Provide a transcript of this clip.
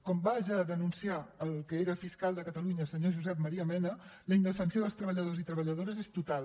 com va ja denunciar el que era fiscal de catalunya senyor josep maria mena la indefensió dels treballadors i treballadores és total